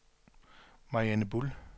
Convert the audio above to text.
Mariann Buhl